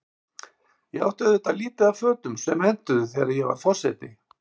Ég átti auðvitað lítið af fötum sem hentuðu, þegar ég varð forseti.